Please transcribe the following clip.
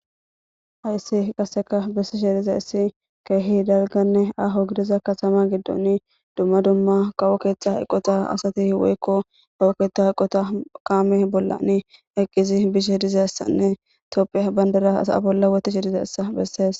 Hayssi qaseka bessishe dizaysi issi keehi dalganne aho gidiza katama giddoni dumma dumma qawo keetha eqota asati woykko kawo keehta iqota kaame bollani eqqizi bishe dizaessanne tophiya bandera asaa bolla wotihe dizeessa bessees.